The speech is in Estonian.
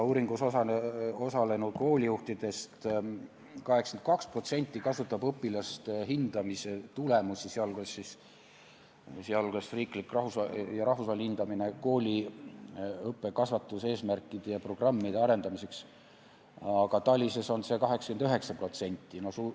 Uuringus osalenud koolijuhtidest 82% kasutab õpilaste hindamise tulemusi, sh riiklikku ja rahvusvahelist hindamist kooli õppe- ja kasvatuseesmärkide ja -programmide arendamiseks, aga TALIS-e põhjal on see protsent keskmiselt 89.